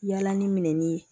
Yala ni minɛn ni